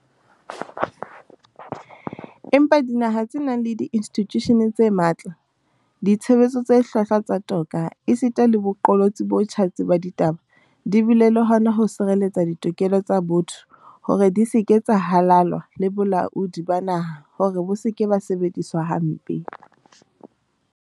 Empa dinaha tse nang le diinstitjushene tse matla, ditshebetso tse hlwahlwa tsa toka esita le boqolotsi bo tjhatsi ba ditaba di bile le hona ho sireletsa ditokelo tsa botho hore di se ke tsa halalwa le bolaodi ba naha hore bo se ke ba sebediswa hampe.